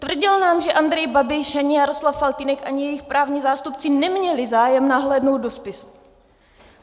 Tvrdil nám, že Andrej Babiš, ani Jaroslav Faltýnek, ani jejich právní zástupci neměli zájem nahlédnout do spisu.